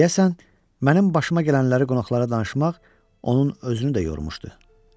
Deyəsən, mənim başıma gələnləri qonaqlara danışmaq onun özünü də yormuşdu.